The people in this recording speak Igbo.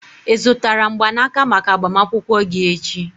ị zụtara mgbanaka maka agbamakwụkwọ gị echi?